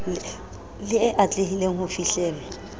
le e atlehileng ho fihlellwa